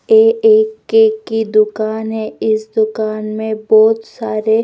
ए एक केक की दुकान है इस दुकान में बहुत सारे--